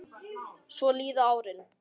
Svo líða árin.